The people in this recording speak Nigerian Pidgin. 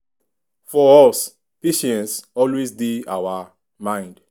for us patience always dey our mind.